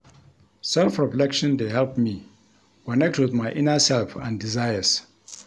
Self-reflection dey help me connect with my inner self and desires.